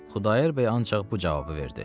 Xudayar bəy ancaq bu cavabı verdi.